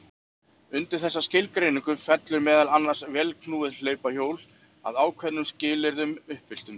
Undir þessa skilgreiningu fellur meðal annars vélknúið hlaupahjól að ákveðnum skilyrðum uppfylltum.